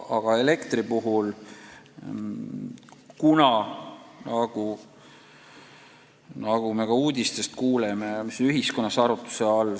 Me oleme ka uudistest kuulnud, et elektri hind läheb üles, see on ühiskonnas elava arutluse all.